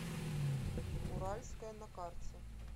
уральская на карте